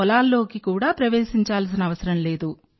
పొలాల్లోకి కూడా ప్రవేశించాల్సిన అవసరం లేదు